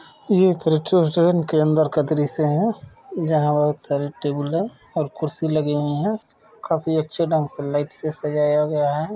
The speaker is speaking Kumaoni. ये एक रेस्ट्रोरेंट के अंदर का दृश्य है जहाँ बहुत सारे टेबल हैं और कुर्सी लगी हुईं हैं काफी अच्छे ढंग से लाइट से सजाया हुआ है।